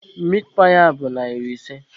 Mitpaị a bụ narị ise.